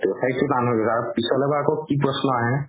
পিছলৈ বা আকৌ কি প্ৰশ্ন আহে